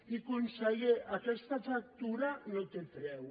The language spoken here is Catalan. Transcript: i conseller aquesta factura no té preu